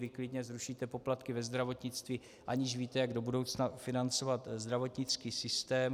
Vy klidně zrušíte poplatky ve zdravotnictví, aniž víte, jak do budoucna financovat zdravotnický systém.